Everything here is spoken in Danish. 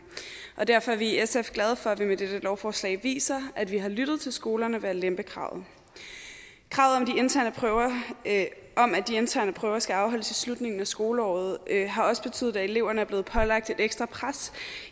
og derfor er vi i sf glade for at vi med dette lovforslag viser at vi har lyttet til skolerne ved at lempe kravet kravet om at de interne prøver skal afholdes i slutningen af skoleåret har også betydet at eleverne er blevet pålagt et ekstra pres